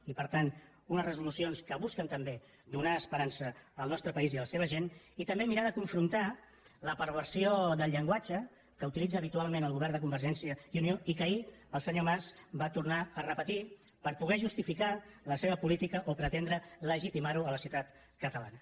i per tant són unes resolucions que busquen també donar esperança al nostre país i a la seva gent i també mirar de confrontar la perversió del llenguatge que utilitza habitualment el govern de convergència i unió i que ahir el senyor mas va tornar a repetir per poder justificar la seva política o pretendre legitimar la a la societat catalana